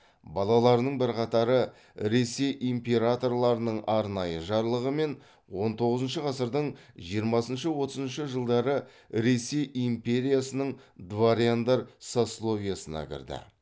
балаларының бірқатары ресей императорларының арнайы жарлығымен он тоғызыншы ғасырдың жиырмасыншы отызыншы жылдары ресей империясының дворяндар сословиесіне кірді